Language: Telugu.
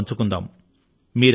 అందరితోనూ పంచుకుందాము